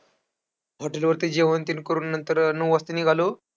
Hotel वरती जेवणतेन करून नंतर नऊ वाजता निघालो.